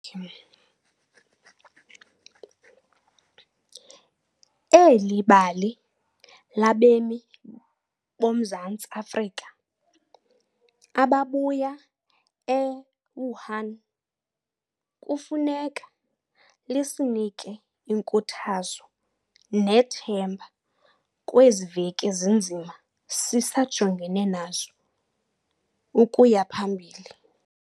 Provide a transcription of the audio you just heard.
Eli bali labemi boMzantsi Afrika ababuya e-Wuhan kufuneka lisinike inkuthazo nethemba kwezi veki zinzima sisajongene nazo ukuya phambili.